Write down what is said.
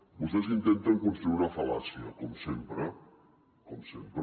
vostès intenten construir una fal·làcia com sempre com sempre